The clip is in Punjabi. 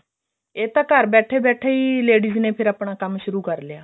ਇਹ ਤਾਂ ਘਰ ਬੈਠੇ ਬੈਠੇ ladies ਨੇ ਫੇਰ ਆਪਣਾ ਕੰਮ ਸ਼ੁਰੂ ਕਰ ਲਿਆ